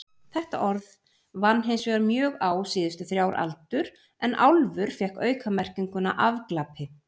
Þetta orð vann hinsvegar mjög á síðustu þrjár aldur en álfur fékk aukamerkinguna afglapi.